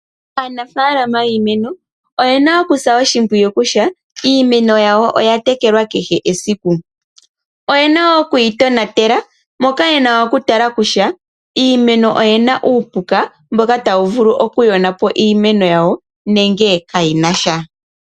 Aanafalama yiimeno oyena okusa oshipwiyu kutya iimeno yawo oya tekelwa kehe esiku. Oyena wo okuyitonatela moka yena okutala kutya iimeno oyina uupuka mboka tawu vulu okuyona po iimeno yawo nenge kayina sha.